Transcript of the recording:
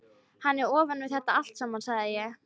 Hann er ofan við þetta allt saman, sagði ég.